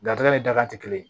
Garijɛgɛ ni daga tɛ kelen